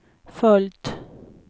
följt